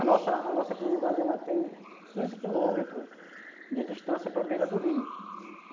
A nossa a nossa comunidade tem quinze quilômetros de distância para beira do rio, uhum.